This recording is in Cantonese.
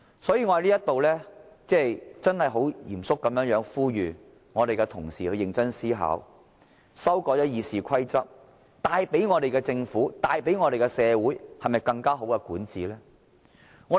所以，我在此很認真而嚴肅地呼籲同事認真思考，修改《議事規則》會否為我們的政府和社會帶來更好的管治呢？